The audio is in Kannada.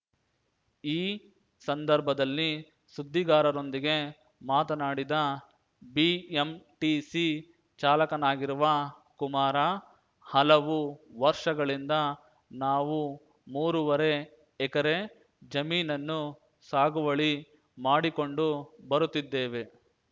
ಈ ಸಂದರ್ಭದಲ್ಲಿ ಸುದ್ದಿಗಾರರೊಂದಿಗೆ ಮಾತನಾಡಿದ ಬಿಎಂಟಿಸಿ ಚಾಲಕನಾಗಿರುವ ಕುಮಾರ ಹಲವು ವರ್ಷಗಳಿಂದ ನಾವು ಮೂರೂವರೆ ಎಕರೆ ಜಮೀನನ್ನು ಸಾಗುವಳಿ ಮಾಡಿಕೊಂಡು ಬರುತ್ತಿದ್ದೇವೆ